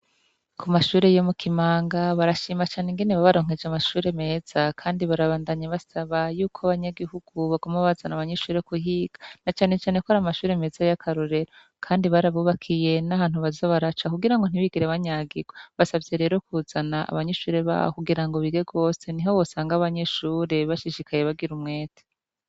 Ku mashure yo mu Kimanga, barashima cane ingene babaronkeje amashure meza, Kandi barabandanya basaba yuko abanyagihugu boguma bazana abanyeshure kuhiga. Na cane cane ko ari mashure yakarorero, Kandi barabubakiye n'ahantu baza baraca kugira mtibigire banyagirwa. Basavye rero kuzana abanyeshure babo kugira bige rwose, niho wasanga abanyeshure bashishikaye, bagira umwete.